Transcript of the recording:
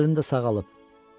Sol əlim də sağalıb.